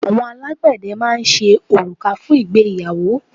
Àwọn alágbẹ̀dẹ máa ń ṣe òrùka fún ìgbéyàwó.